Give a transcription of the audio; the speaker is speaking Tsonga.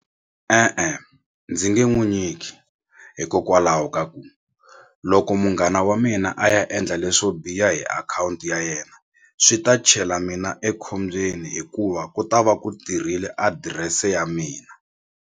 E-e ndzi nge n'wi nyiki hikokwalaho ka ku loko munghana wa mina a ya endla leswo biha hi akhawunti ya yena swi ta chela mina ekhombyeni hikuva ku ta va ku tirhile adirese ya mina.